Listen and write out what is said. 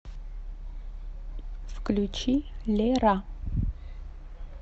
включи лера